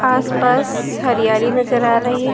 आस पास हरियाली नजर आ रही--